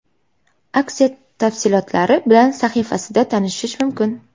Aksiya tafsilotlari bilan sahifasida tanishish mumkin.